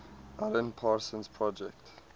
alan parsons project